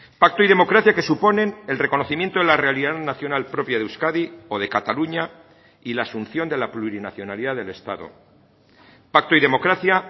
pacto y democracia que suponen el reconocimiento de la realidad nacional propia de euskadi o de cataluña y la asunción de la plurinacionalidad del estado pacto y democracia